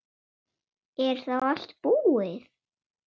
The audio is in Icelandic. Er þá allt búið?